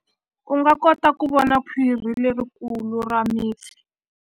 U nga kota ku vona khwiri lerikulu ra mipfi.